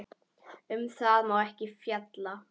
Um það má ekki fjalla.